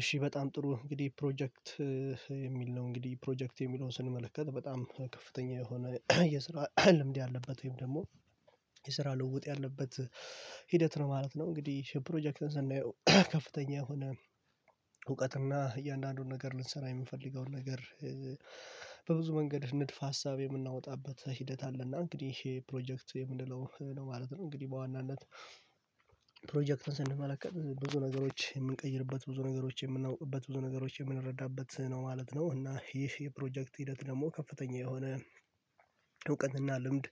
እሺ በጣም ጥሩ እንግዲህ ፕሮጀክት የሚል ነው እንግዲህ ፕሮጀክት የሚለውን ስንመለከት በጣም ከፍተኛ የሆነ የስራ ልምድ ያለበት ወይም ደግሞ የስራ ልውውጥ ያለበት ሂደት ነው ማለት ነው። እንግዲህ ፕሮጀክትን ስናየው ከፍተኛ የሆነ እውቀትና እያንዳንዱን ነገር ልንሰራ የምንፈልገውን ነገር በብዙ መንገድ ንድፈ ሀሳብ የምናወጣበት ሂደት አለና እንግዲህ ፕሮጀክት የምንለው ነው ማለት ነው። እንግዲህ በዋናነት ፕሮጀክትን ስንመለከት ብዙ ነገሮች የምንቀይርበት ብዙ ነገሮች የምናውቅበት ብዙ ነገሮች የምንረዳበት ነው ማለት ነው እና ይህ የፕሮጀክት ሂደት ደግሞ ከፍተኛ የሆነ ልምድ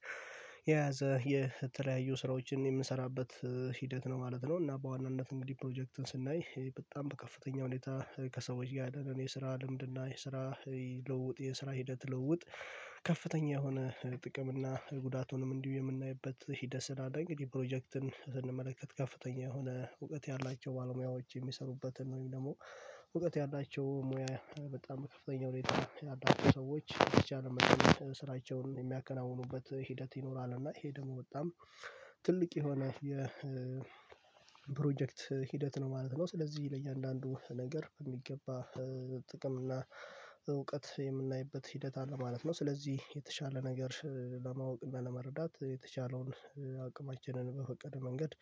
የያዘ የተለያዩ ስራዎችን የምንሰራበት ሂደት ነው ማለት ነው። እና በዋናነት እንግዲህ ፕሮጀክትን ስናይ በጣም በከፍተኛ ሁኔታ ከሰዎች ጋር ያለን የስራ ልምድና የስራ ልውውጥ የስራ ሂደት ልውውጥ ከፍተኛ የሆነ ጥቅም እና ጉዳቱንም እንዲሁ የምናይበት ሂደት ስላለ እንግዲህ ፕሮጀክትን ስንመለከት ከፍተኛ የሆነ እውቀት ያላቸው ባለሙያዎች የሚሠሩበትን ወይም ደግሞ እውቀት ያላቸው ሙያ በጣም ከፍተኛ ሁኔታ ያላቸው ሰዎች በተቻለ መጠን ስራቸውን የሚያከናውኑበት ሂደት ይኖራል እና ይሄ ደግሞ በጣም ትልቅ የሆነ የ ፕሮጀክት ሂደት ነው ማለት ነው። ስለዚህ ለእያንዳንዱ ነገር በሚገባ ጥቅም እና እውቀት የምናይበት ሂደት አለ ማለት ነው። ስለዚህ የተሻለ ነገር ለማወቅ እና ለመረዳት የተቻለውን አቅማችንን በፈቀደ መንገድ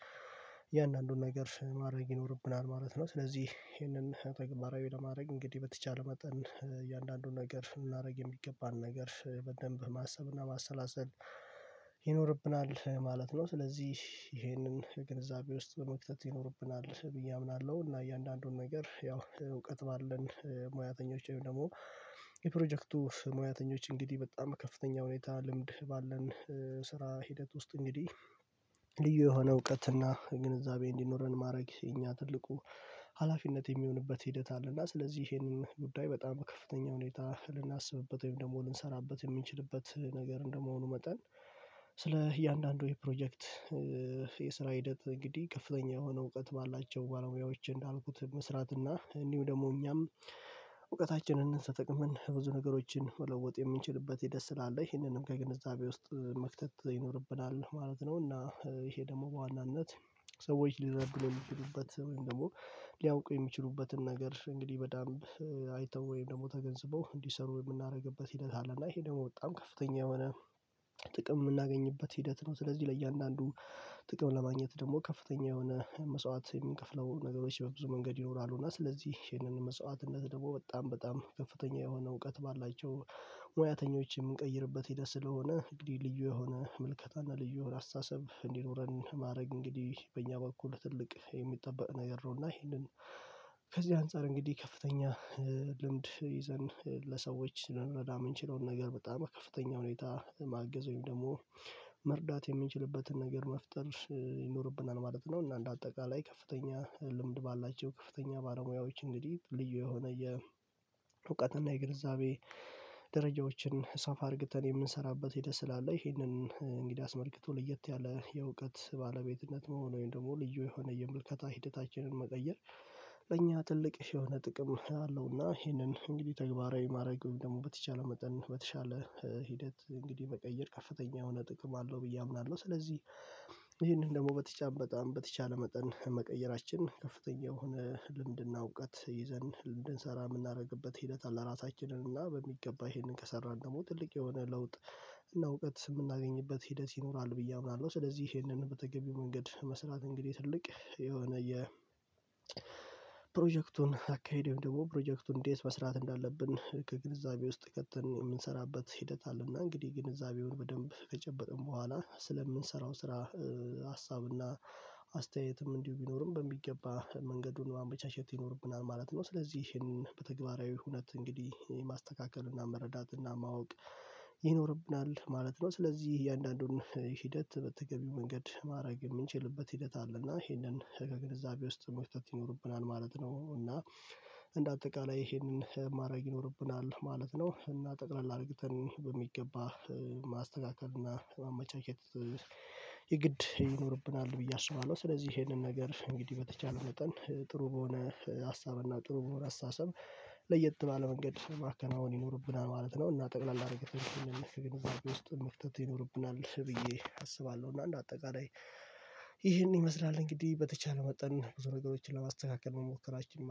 እያንዳንዱን ነገር ማድረግ ይኖርብናል ማለት ነው። ስለዚህ ይሄንን ተግባራዊ ለማድረግ እንግዲህ በተቻለ መጠን እያንዳንዱን ነገር ልናደርግ የሚገባን ነገር በደንብ ማሰብና ማሰላሰል ይኖርብናል ማለት ነው። ስለዚህ ይሄንን ግንዛቤ ውስጥ በመክተት ይኖርብናል ብዬ አምናለሁ። እና እያንዳንዱን ነገር ያው እውቀት ባለን ሙያተኞች ወይም ደግሞ የፕሮጀክቱ ሙያተኞች እንግዲህ በጣም ከፍተኛ ሁኔታ ልምድ ባለን ስራ ሂደት ውስጥ እንግዲህ ልዩ የሆነ እውቀት እና ግንዛቤ እንዲኖረን ማድረግ የኛ ትልቁ ሀላፊነት። የሚሆንበት ሂደት አለና ስለዚህ ይሄንን ጉዳይ በጣም ከፍተኛ ሁኔታ ልናስብበት ወይም ደግሞ ልንሠራበት የሚችልበት ነገር እንደመሆኑ መጠን ስለ እያንዳንዱ የፕሮጀክት የስራ ሂደት እንግዲህ ከፍተኛ የሆነ እውቀት ባላቸው ባለሙዎች እንዳልኩት መስራት እና እንዲሁም ደግሞ እኛም እውቀታችንን ተጠቅመን ብዙ ነገሮችን መለወጥ የምንችልበት ሂደት ስለአለ ይሄንንም ከግንዛቤ ውስጥ መክተት ይኖርብናል ማለት ነው። እና ይሄ ደግሞ በዋናነት ሰዎች ሊረዱን የሚችሉበት ወይም ደግሞ ሊያውቁ የሚችሉበትን ነገር እንግዲህ በደንብ አይተው ወይም ደግሞ ተገንዝበው እንዲሰሩ የምናደርግበት ሂደት አለ እና ይሄ ደግሞ በጣም ከፍተኛ የሆነ ጥቅም የምናገኝበት ሂደት ነው። ስለዚህ ለእያንዳንዱ ጥቅም ለማግኘት ደግሞ ከፍተኛ የሆነ መስዋዕት የምንከፍለው ነገሮች በብዙ መንገድ ይኖራሉ እና ስለዚህ ይህንን መስዋዕትነት ደግሞ በጣም በጣም ከፍተኛ የሆነ እውቀት ባላቸው ሙያተኞች የምንቀይርበት ሂደት ስለሆነ እንግዲህ ልዩ የሆነ ምልከታና ልዩ አስተሳሰብ እንዲኖረን ማድረግ እንግዲህ በእኛ በኩል ትልቅ የሚጠበቅ ነገር ነው። እና ይሄንን ከዚህ አንፃር እንግዲህ ከፍተኛ ልምድ ይዘን ለሰዎች ልንረዳ የምንችለውን ነገር በጣም ከፍተኛ ሁኔታ ማገዝ ወይም ደግሞ መርዳት የምንችልበትን ነገር መፍጠር ይኖርብናል ማለት ነው። እና እንደ አጠቃላይ ከፍተኛ ልምድ ባላቸው ከፍተኛ ባለሙያዎች እንግዲህ ልዩ የሆነ የእውቀት እና የግንዛቤ ደረጃዎችን ሰፋ አድርገን የምንሰራበት ሄደት ስላለ ይሄንን እንግዲህ አስመልክቶ ለየት ያለ የእውቀት ባለቤትነት መሆን ወይም ደግሞ ልዩ የሆነ የምልከታ ሂደታችንን መቀየር ለእኛ ትልቅ የሆነ ጥቅም አለውና ይሄንን እንግዲህ ተግባራዊ ማድረግ ወይም ደግሞ በተቻለ መጠን በተቻለ ሂደት እንግዲህ መቀየር ከፍተኛ የሆነ ጥቅም አለው ብዬ አምናለሁ። ስለዚህ ይሄንን ደግሞ በተቻለ በጣም በተቻለ መጠን መቀየራችን ከፍተኛ የሆነ ልምድና እውቀት ይዘን እንድንሰራ የምናደርግበት ሂደት አለ ራሳችንን እና በሚገባ ይሄንን ከሰራን ደግሞ ትልቅ የሆነ ለውጥ እና እውቀት የምናገኝበት ሂደት ይኖራል ብዬ አምናለሁ። ስለዚህ ይሄንን በተገቢው መንገድ መስራት እንግዲህ ትልቅ የሆነ የ ፕሮጀክቱን አካሄድ ደግሞ ፕሮጀክቱን እንዴት መስራት እንዳለብን ከግንዛቤ ውስጥ ከተን የምንሰራበት ሂደት አለና እንግዲህ ግንዛቤውን በደንብ ከጨበጠን በኋላ ስለምንሠራው ስራ ሀሳብና አስተያየትም እንዲሁ ቢኖርም በሚገባ መንገዱን ማመቻቸት ይኖርብናል ማለት ነው። ስለዚህ ይሄን በተግባራዊ ሁኔታ እንግዲህ የማስተካከል እና መረዳት እና ማወቅ ይኖርብናል ማለት ነው። ስለዚህ እያንዳንዱን ሂደት በተገቢው መንገድ ማድረግ የምንችልበት ሂደት አለ እና ይሄንን ከግንዛቤ ውስጥ መክተት ይኖርብናል ማለት ነው። እና እንደ አጠቃላይ ይሄንን ማድረግ ይኖርብናል ማለት ነው። እና ጠቅላላ አድርገን በሚገባ ማስተካከል እና መቼኬት የግድ ይኖርብናል ብዬ አስባለሁ። ስለዚህ ይሄንን ነገር እንግዲህ በተቻለ መጠን ጥሩ በሆነ ሀሳብና ጥሩ በሆነ አስተሳሰብ ለየት ባለ መንገድ ማከናዎን ይኖርብናል ማለት ነው። እና ጠቅለል አድርገን ስን ግንዛቤ ውስጥ መክተት ይኖርብናል ብዬ አስባለሁ እና እንደ አጠቃላይ ይሄን ይመስላል እንግዲህ በተቻለ መጠን ብዙ ነገሮችን ለማስተካከል መሞከራችን